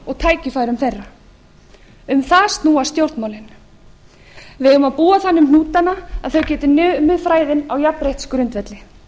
og tækifærum þeirra um það snúast stjórnmálin við eigum að búa þannig um hnútana að þau geti numið fræðin á jafnréttisgrundvelli